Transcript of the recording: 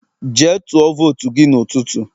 jee tuo votu gi n'ututu